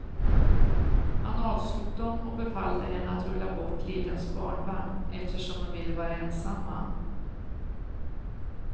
Han avslog dem och befallde henne att rulla bort lillens barnvagn, eftersom de ville vara ensamma.